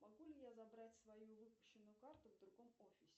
могу ли я забрать свою выпущенную карту в другом офисе